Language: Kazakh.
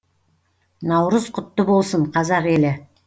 наурыз құтты болсын қазақ елі